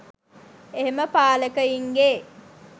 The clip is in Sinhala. එහෙම පාලකයින්ගේ